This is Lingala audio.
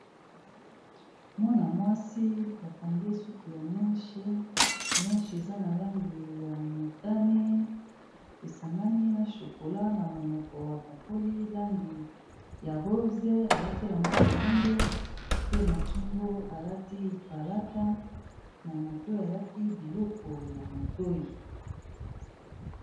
Mwana mwasi ba kangi ye suki ya meshe. Meshe, eza na langi ya motani, esangani na chokola. Na monoko apakoli langi ya rose. Alati elamba moindo, pe na kingo alati palata, na matoi alati biloko ya matoi.